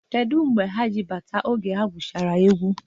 Kedu mgbe ha ji bata oge ha gwuchara egwu?